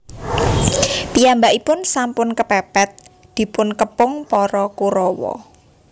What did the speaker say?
Piyambakipun sampun kepèpèt dipun kepung para Korawa